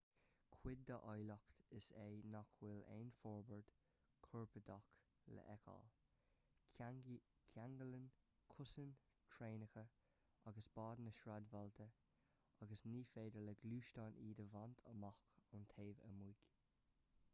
cuid dá áilleacht is ea nach bhfuil aon fhorbairt chorparáideach le feiceáil ceanglaíonn cosáin traenacha agus báid na sráidbhailte agus ní féidir le gluaisteáin iad a bhaint amach ón taobh amuigh